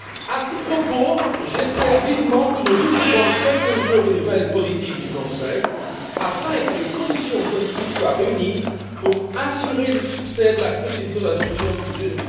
À ce propos, j'espère vivement que nous recevrons très bientôt des nouvelles positives du Conseil, afin que les conditions politiques soient réunies pour assurer le succès de la procédure d'adoption du budget